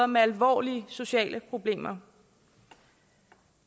med alvorlige sociale problemer